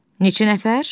Neçə nəfər?